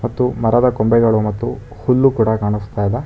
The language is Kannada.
ಮತ್ತು ಮರದ ಕೊಂಬೆಗಳು ಮತ್ತು ಹುಲ್ಲು ಕೂಡ ಕಾಣಿಸ್ತಿದೆ.